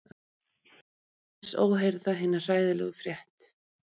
Sá sem hlær á aðeins óheyrða hina hræðilegu frétt.